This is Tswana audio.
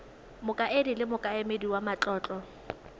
mokaedi le mokaedi wa matlotlo